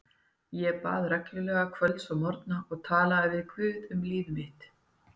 Ég bað reglulega kvölds og morgna og talaði við guð um líf mitt.